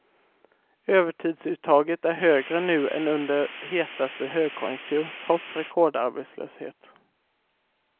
Övertidsuttaget är högre nu än under hetaste högkonjunktur, trots rekordarbetslöshet.